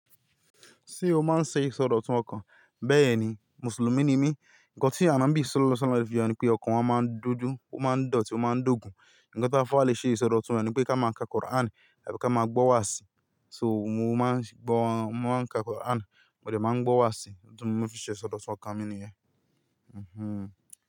Ṣé o máa ń ṣe ìsọdọ̀tun ọkàn? Bẹ́ẹ̀ ni, Mùsùlùmí ni mí. Ǹkan tí ànabí Sallallahu alayhi wa sallam fìyà ni pé ọkàn wọn máa ń dúdú, ó máa ń dọ̀tí, ó máa ń dògún. Ǹkan tí afó àlé ṣe ìsọdọ̀tun rẹ̀ ni pé ká máa ka Quran tàbí ká máa gbọ́ wàásì. So mo máa ń ka Quran mo de máa ń gbọ́ wàásì. Ohun tí mo fi ṣe ìsọdọ̀tun ọkàn mi nìyẹn Mhmm.